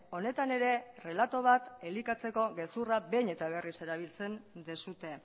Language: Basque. honetan ere relato bat elikatzeko gezurrak behin eta berriz erabiltzen duzue